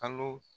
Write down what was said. Kalo